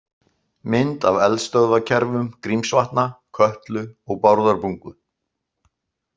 Mynd af eldstöðvakerfum Grímsvatna, Kötlu og Bárðarbungu.